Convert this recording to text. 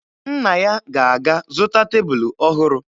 Nna ya ga-aga zụta tebulu ọhụrụ